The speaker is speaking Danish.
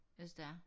Hvis det er